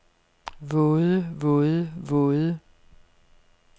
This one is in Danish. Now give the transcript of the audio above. våde våde våde